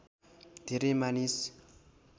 धेरै मानिस